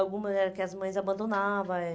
Algumas eram que as mães abandonava. Eh